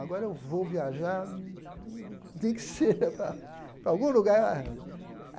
Agora eu vou viajar, e digo nem que seja para para algum lugar.